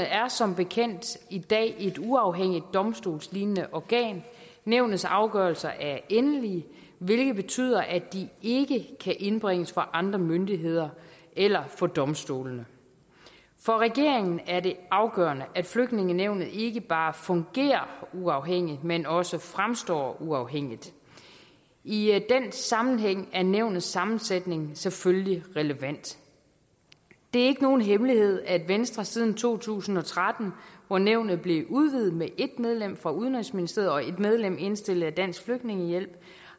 er som bekendt i dag et uafhængigt domstolslignende organ nævnets afgørelser er endelige hvilket betyder at de ikke kan indbringes for andre myndigheder eller for domstolene for regeringen er det afgørende at flygtningenævnet ikke bare fungerer uafhængigt men også fremstår uafhængigt i den sammenhæng er nævnets sammensætning selvfølgelig relevant det er ikke nogen hemmelighed at venstre siden to tusind og tretten hvor nævnet blev udvidet med en medlem fra udenrigsministeriet og en medlem indstillet af dansk flygtningehjælp